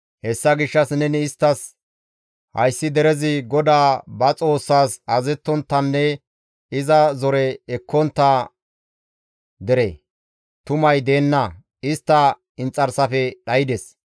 Hessa gishshas neni isttas, ‹Hayssi derezi GODAA ba Xoossaas azazettonttanne iza zore ekkontta dere; tumay deenna; istta inxarsafe dhaydes.